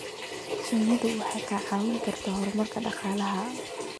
Shinnidu waxay kicin kartaa horumarka dhaqaalaha.